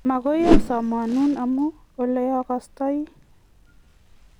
magoi asamhanun amu ole akostoi